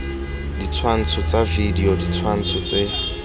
ditshwantsho tsa video ditshwantsho tse